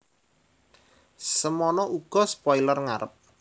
Semana uga spoiler ngarep